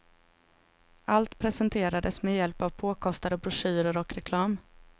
Allt presenterades med hjälp av påkostade broschyrer och reklam.